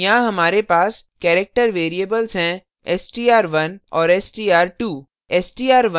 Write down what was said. यहाँ हमारे पास character variables हैं str1 औरstr2